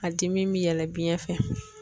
A dimi bi yɛlɛ biyɛn fɛ